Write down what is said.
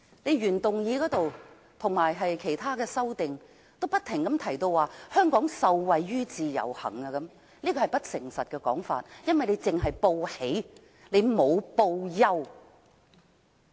原議案及各項修正案均指香港受惠於自由行，是不誠實的說法，因為只報喜而不報憂。